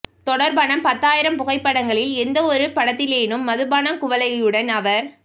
தொடர்பான பத்தாயிரம் புகைப்படங்களில் எந்த ஒரு படத்திலேனும் மதுபானக் குவளையுடன் அவர்